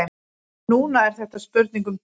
Núna er þetta spurning um tíma.